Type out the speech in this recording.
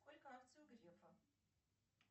сколько акций у грефа